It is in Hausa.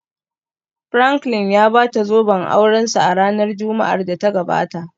Franklin ya bata zoben aurensa a ranar Juma'ar da ta gabata